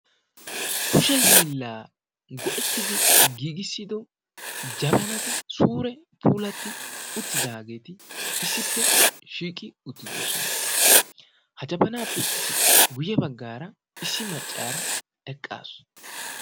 kushee hiila go''ettidi giigissido jabanati puulatti uttidaageeti issippe shiiqi uttidoosna. ha jabanappe guyye baggaara issi maccaara eqqaasu.